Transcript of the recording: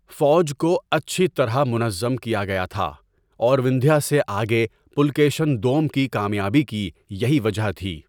فوج کو اچھی طرح منظم کیا گیا تھا اور وندھیا سے آگے پلکیشن دوم کی کامیابی کی یہی وجہ تھی۔